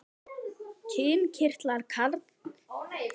Kynkirtlar karls eru eistun en konu eggjastokkarnir.